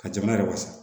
Ka jamana yɛrɛ wasa